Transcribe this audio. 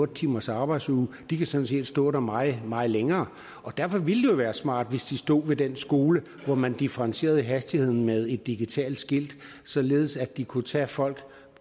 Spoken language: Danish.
timers arbejdsdag de kan sådan set stå der meget meget længere og derfor ville det jo være smart hvis de stod ved den skole hvor man differentierede hastigheden med et digitalt skilt således at de altid kunne tage folk